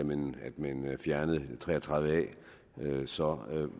man fjernede tre og tredive a så